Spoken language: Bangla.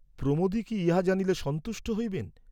প্রমোদই কি ইহা জানিলে সন্তুষ্ট হইবেন?